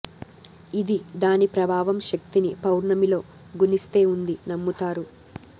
ఇది దాని ప్రభావం శక్తిని పౌర్ణమి లో గుణిస్తే ఉంది నమ్ముతారు